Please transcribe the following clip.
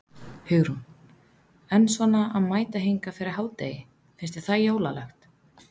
Hugrún: En svona að mæta hingað fyrir hádegi, finnst þér það jólalegt?